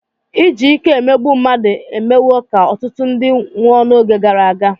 Iji ike emegbu mmadụ emewo ka ọtụtụ ndị nwụọ n'oge gara aga.